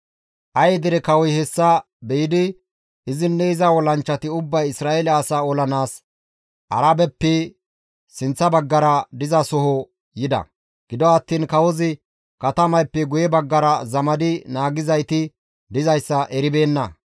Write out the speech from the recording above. Aye dere kawoy hessa be7idi izinne iza olanchchati ubbay Isra7eele asaa olanaas Arabeppe sinththa baggara dizasoho yida. Gido attiin kawozi katamayppe guye baggara zamadi naagizayti dizayssa eribeenna.